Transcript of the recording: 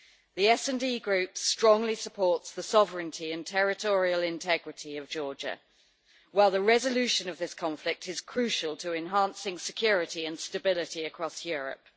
The SD Group strongly supports the sovereignty and territorial integrity of Georgia, while the resolution of this conflict is crucial to enhancing security and stability across Europe.